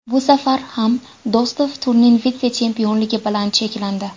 Bu safar ham Do‘stov turnir vitse-chempionligi bilan cheklandi.